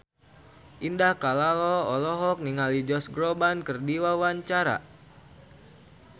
Indah Kalalo olohok ningali Josh Groban keur diwawancara